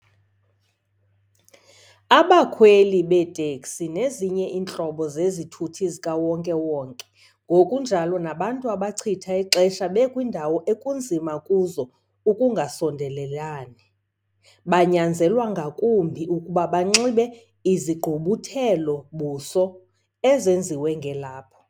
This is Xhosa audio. Abakhweli beeteksi nezinye iintlobo zezithuthi zikawonke-wonke, ngokunjalo nabantu abachitha ixesha bekwiindawo ekunzima kuzo ukungaso ndelelani, banyanzelwa ngakumbi ukuba banxibe izigqubuthelo-buso ezenziwe ngelaphu.